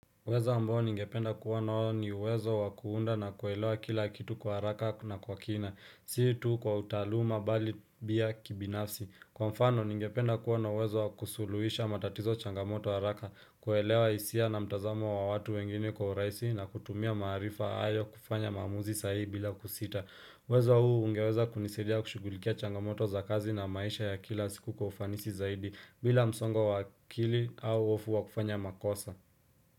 Uwezo ambao ningependa kuwa nao ni uwezo wa kuunda na kuelewa kila kitu kwa haraka na kwa kina, si tu kwa utaaluma bali bia kibinafsi. Kwa mfano ningependa kuwa na uwezo wa kusuluhisha matatizo changamoto haraka, kuelewa hisia na mtazamo wa watu wengine kwa uraisi na kutumia maarifa ayo kufanya maamuzi sahihi bila kusita. Uwezo huu ungeweza kunisaidia kushughulikia changamoto za kazi na maisha ya kila siku kwa ufanisi zaidi bila msongo wa akili au hofu wa kufanya makosa.